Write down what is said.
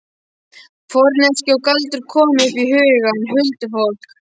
Forneskja og galdur komu upp í hugann. huldufólk.